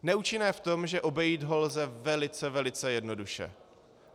Neúčinné v tom, že obejít ho lze velice, velice jednoduše.